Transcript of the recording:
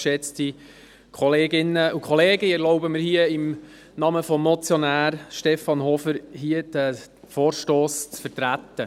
Ich erlaube mir, hier im Namen des Motionärs Stefan Hofer diesen Vorstoss zu vertreten.